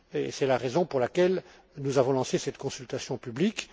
C'est la raison pour laquelle nous avons lancé cette consultation publique.